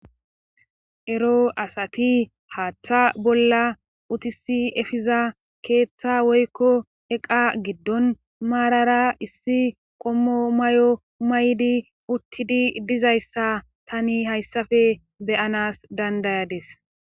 Ero asati hattaa bolla utissi efiza keetta woykko iqaa giddon maarara issi qommo mayo mayidi uttidi dizayssa tani haysafe be7anas dandayades.